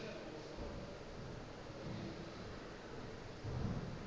o be a sa rate